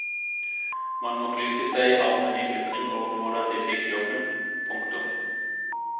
Man må klype seg i armen i undring over hvordan de fikk jobben. punktum